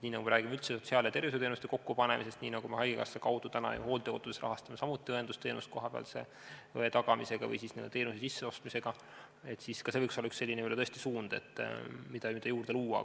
Kui me räägime üldse sotsiaal- ja tervishoiuteenuste kokkupanemisest, nii nagu me praegu haigekassa kaudu rahastame näiteks hooldekodus samuti õendusteenust kohapealse õe tagamisega või siis teenuse n-ö sisseostmisega, siis ka see võiks olla tõesti üks selline suund, mida juurde luua.